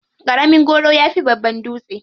Ƙaramin goro ya fi babban dutse.